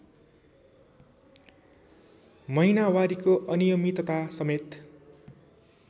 महिनावारीको अनियमितता समेत